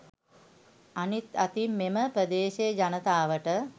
අනිත් අතින් මෙම ප්‍රදේශයේ ජනතාවට